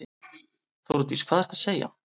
Þórdís: Hvað ertu að segja.